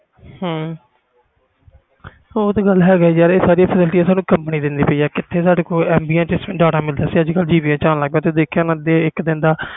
ਹੂੰ ਯਾਰ ਇਹ ਸਾਰੀਆਂ facility ਸਾਨੂੰ ਕੰਪਨੀਆਂ ਦੇਣ ਲੱਗ ਪਈ ਆ ਪਹਿਲੇ ਜਿਵੇ ਪੰਜ ਸੌ mb ਵਿਚ ਹੁਣ ਮਿਲਣ one gb ਲੱਗ ਪਾਈਆਂ